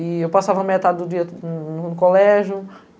E eu passava metade do dia no colégio.